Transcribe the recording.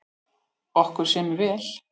Okkur semur vel